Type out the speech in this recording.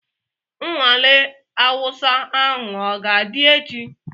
Nnwale Awụsa ahụ ọ ga-adị echi?